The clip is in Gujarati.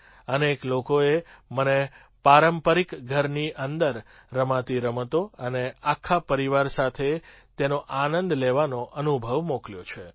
અનેક લોકોએ મને પારંપરિક ઘરની અંદર રમાતી રમતો અને આખા પરિવાર સાથે તેનો આનંદ લેવાનો અનુભવ મોકલ્યો છે